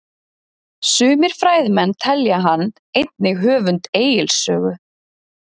Sumir fræðimenn telja hann einnig höfund Egils sögu.